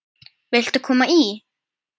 Viltu koma í?